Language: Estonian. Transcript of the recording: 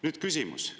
Nüüd küsimus.